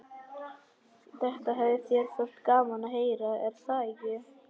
Þetta hefði þér þótt gaman að heyra, er það ekki?